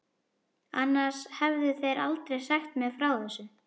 Annars hefðu þeir aldrei sagt mér frá þessu.